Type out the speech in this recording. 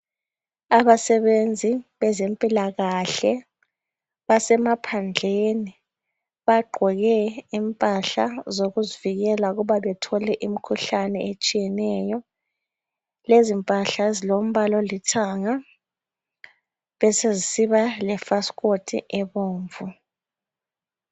abasebenzi bezempilakhle basemaphandleni bagqoke impahla zokuzivikela ukuba bathole imkhuhlane etshiyeneyo lezi mpahla zilombala olithanga beseziba le fasikhothi ebomvu